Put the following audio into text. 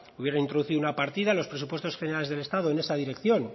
hubiera introducido una partida en los presupuestos generales del estado en esa dirección